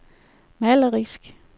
malerisk